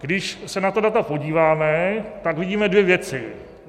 Když se na ta data podíváme, tak vidíme dvě věci.